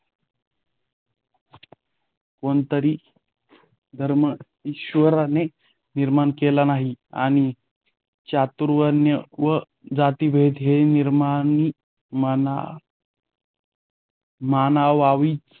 कोणताह धर्म ईश्वराने निर्माण केलेला नाही आणि चातुर्वण्य व जातिभेद ही निर्मिती माना मानवाचीच